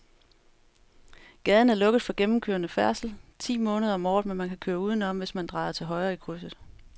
Gaden er lukket for gennemgående færdsel ti måneder om året, men man kan køre udenom, hvis man drejer til højre i krydset.